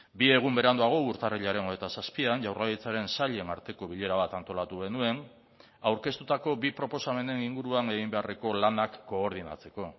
bi egun beranduago urtarrilaren hogeita zazpian jaurlaritzaren sailen arteko bilera bat antolatu genuen aurkeztutako bi proposamenen inguruan egin beharreko lanak koordinatzeko